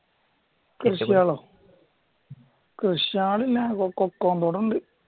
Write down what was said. കൃഷികളോ കൃഷികള് കൊക്കോ ഉണ്ട്